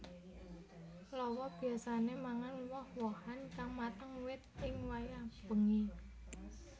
Lawa biyasané mangan woh wohan kang mateng wit ing wayah bengi